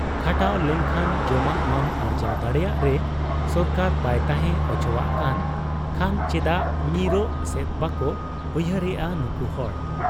ᱠᱷᱟᱴᱟᱣ ᱞᱮᱱᱠᱷᱟᱱ ᱡᱚᱢᱟᱜ ᱢᱟᱢ ᱟᱨᱡᱟᱣ ᱫᱟᱲᱮᱭᱟᱜ ᱨᱮ ᱥᱚᱨᱠᱟᱨ ᱵᱟᱭ ᱛᱟᱦᱮᱸ ᱚᱪᱚᱣᱟᱜ ᱠᱟᱱ ᱠᱷᱟᱱ ᱪᱮᱫᱟᱜ ᱧᱤᱨᱚᱜ ᱥᱮᱫ ᱵᱟᱠᱚ ᱩᱭᱦᱟᱹᱨᱮᱫ ᱟ ᱱᱩᱠᱩ ᱦᱚᱲ ?